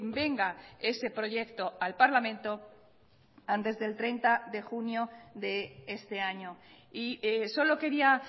venga ese proyecto al parlamento antes del treinta de junio de este año y solo quería